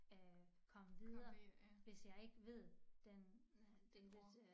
Øh komme videre hvis jeg ikke ved den den ord